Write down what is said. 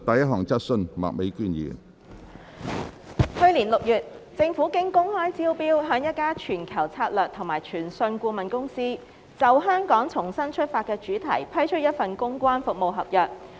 去年6月，政府經公開招標向一家全球策略及傳訊顧問公司，就"香港重新出發"的主題批出一份公關服務合約。